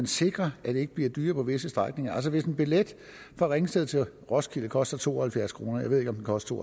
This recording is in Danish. sikre at det ikke bliver dyrere på visse strækninger altså hvis en billet fra ringsted til roskilde koster to og halvfjerds kroner jeg ved ikke om den koster